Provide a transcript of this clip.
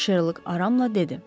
Şerlok aramla dedi.